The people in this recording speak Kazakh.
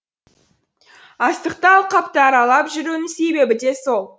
астықты алқапты аралап жүруінің себебі де сол